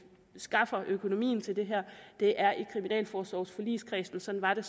skaffer økonomien til det det er i kriminalforsorgsforligskredsen sådan var det